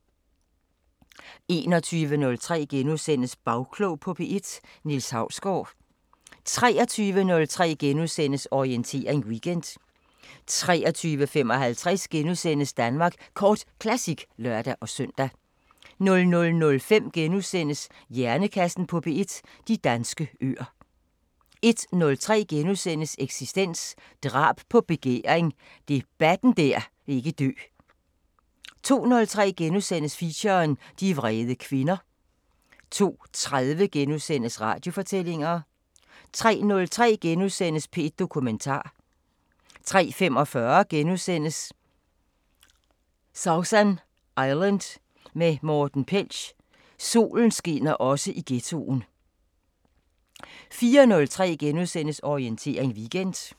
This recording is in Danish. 21:03: Bagklog på P1: Niels Hausgaard * 23:03: Orientering Weekend * 23:55: Danmark Kort Classic *(lør-søn) 00:05: Hjernekassen på P1: De danske øer * 01:03: Eksistens: Drab på begæring – debatten der ikke vil dø * 02:03: Feature: De vrede kvinder * 02:30: Radiofortællinger * 03:03: P1 Dokumentar * 03:45: Sausan Island med Morten Pelch: "Solen skinner også i ghettoen" * 04:03: Orientering Weekend *